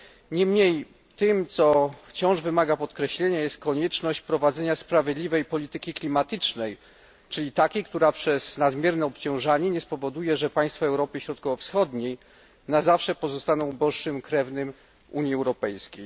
Niemniej tym, co wciąż wymaga podkreślenia, jest konieczność prowadzenia sprawiedliwej polityki klimatycznej, czyli takiej, która przez nadmierne obciążanie nie spowoduje, że państwa Europy Środkowo Wschodniej na zawsze pozostaną uboższym krewnym Unii Europejskiej.